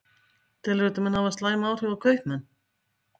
Karen: Telurðu að þetta muni hafa slæm áhrif á kaupmenn?